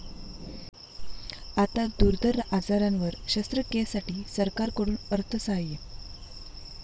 आता दुर्धर आजारांवर शस्त्रक्रियेसाठी सरकारकडून अर्थसहाय्य